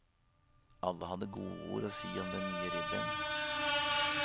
Alle hadde godord å si til den nye ridderen.